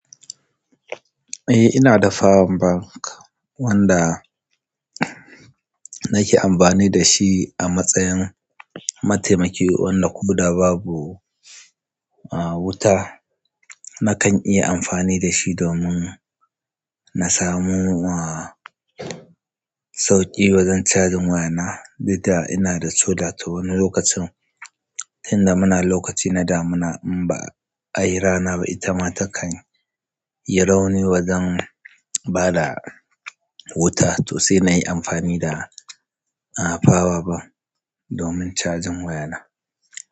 Eh ina da power bank wanda nake amfani da shi a matsayin mataimaki wanda ko da babu wuta. Nakan iya amfani dashi domin na samu ah sauƙi wajen cajin waya na duk da ina da sollar to wani lokacin inda muna lokaci na damina in ba ayi rana ba ita ma takan yi rauni wajen bada wuta to sai nayi amfani da power bank domin cajin waya na.